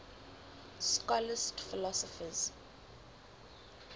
scholastic philosophers